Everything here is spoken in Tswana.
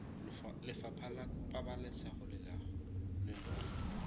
lefapha la pabalesego le loago